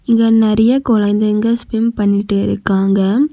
இங்க நறைய குழந்தைங்க ஸ்விம் பண்ணிகிட்டு இருக்காங்க.